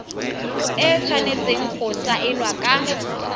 e tshwanetseng go saenwa ka